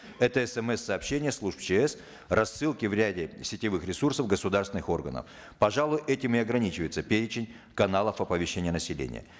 это смс сообщения служб чс рассылки в ряде сетевых ресурсов государственных органов пожалуй этим и ограничивается перечень каналов оповещения населения